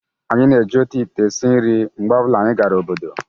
anyị na-eji otu ite esi nri mgbe ọ bụla anyị gara obodo